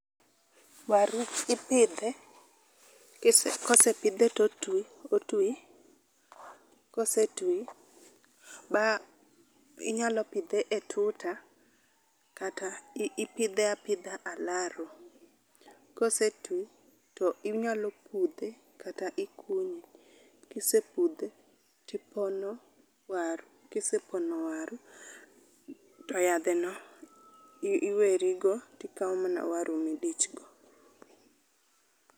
Waru ipidhe, kosepidhe to otwi. Kosetwi ba inyalo pidhe e tuta kata ipidhe apidha alaro. Kosetwi to inyalo pudhe kata ikunye, kisepudhe to ipono waru. Kisepono waru to yadheno iweri go to ikawo mana waru ma idichgo.